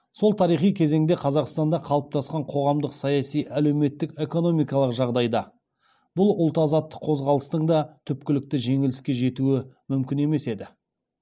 сол тарихи кезеңде қазақстанда қалыптасқан қоғамдық саяси әлеуметтік экономиқалық жағдайда бұл ұлт азаттық қозғалыстың да түпкілікті жеңіске жетуі мүмкін емес еді